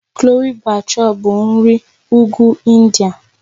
Chole Bhature bụ nri Ugwu India